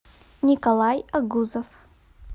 николай огузов